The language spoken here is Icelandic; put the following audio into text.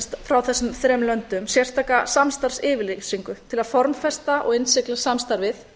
frá þessum þremur löndum sérstaka samstarfsyfirlýsingu til að formfesta og innsigla samstarfið